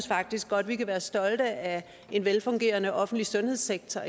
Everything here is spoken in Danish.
faktisk godt at vi kan være stolte af en velfungerende offentlig sundhedssektor